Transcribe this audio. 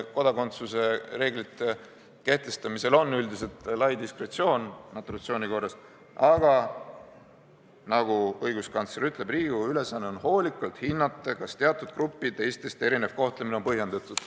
Kodakondsuse reeglitel on üldiselt lai diskretsioon , aga nagu õiguskantsler ütleb, Riigikogu ülesanne on hoolikalt hinnata, kas teatud gruppide teistest erinev kohtlemine on põhjendatud.